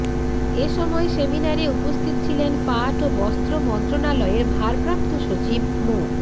এ সময় সেমিনারে উপস্থিত ছিলেন পাট ও বস্ত্র মন্ত্রণালয়ের ভারপ্রাপ্ত সচিব মো